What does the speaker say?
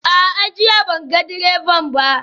A'a, jiya ban ga direban ba